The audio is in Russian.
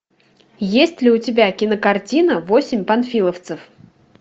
есть ли у тебя кинокартина восемь панфиловцев